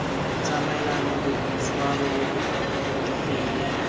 tsamaelane boitshwaro bo bo digile